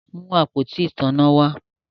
Mú àpótí ìtanná wá!